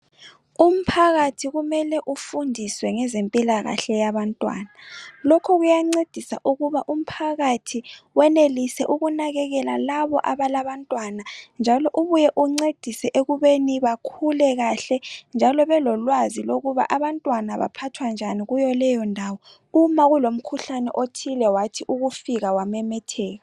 Umphakathi kumele ufundiswe ngezempilakahle yabantwana. Lokhu kuyancedisa ukuba umphakathi wenelise ukunakekela labo abalabantwana njalo ubuye uncedise ekubeni bakhule kahle njalo belolwazi lokuba abantwana baphathwa njani kuyo leyo ndawo , uma kulomkhuhlane othile wathi ukufika wamemetheka.